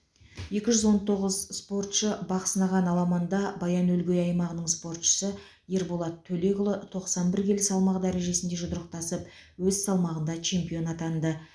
екі жүз он тоғыз спортшы бақ сынаған аламанда баян өлгей аймағының спортшысы ерболат төлекұлы тоқсан бір келі салмақ дәрежесінде жұдырықтасып өз салмағында чемпион атанды